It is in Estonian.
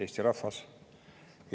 Eesti rahvas!